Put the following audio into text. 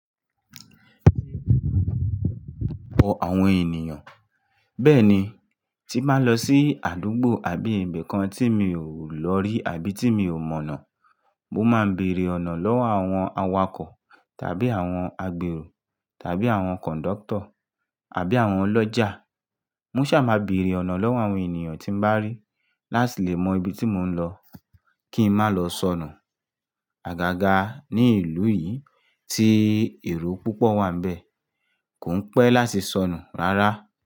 Bọ̀ àwọn ènìyàn. Bẹ́ẹ̀ni, tí mba lọ sí àdúgbò àbí ibìkan tí mi ò lọ rí àbí tí mi ò mọ̀nà, mo máa ń bèèrè ọ̀nà lọ́wọ́ àwọn awakọ̀ tàbí àwọn agbèrò tàbí àwọn kọ̀ńdọ́tọ̀ àbí àwọn ọlọ́jà. Moṣà máa ń bèèrè ọ̀nà lọ́wọ́ àwọn ènìyàn tí ń bá rí láti lè mọ ibi tí mò ń lọ kí n má lọ sọnù. Àgàgà ní ìlú yìí tí èrò púpọ̀ wà níbẹ̀ kò ń pẹ́ láti sọnù rárá.